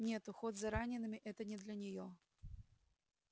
нет уход за ранеными это не для неё